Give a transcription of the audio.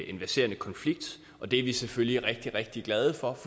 en verserende konflikt og det er vi selvfølgelig rigtig rigtig glade for